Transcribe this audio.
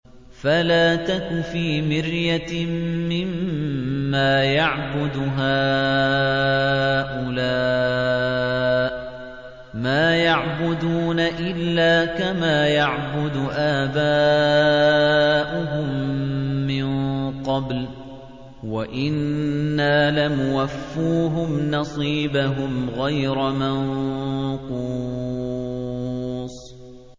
فَلَا تَكُ فِي مِرْيَةٍ مِّمَّا يَعْبُدُ هَٰؤُلَاءِ ۚ مَا يَعْبُدُونَ إِلَّا كَمَا يَعْبُدُ آبَاؤُهُم مِّن قَبْلُ ۚ وَإِنَّا لَمُوَفُّوهُمْ نَصِيبَهُمْ غَيْرَ مَنقُوصٍ